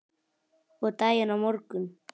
Og daginn á morgun.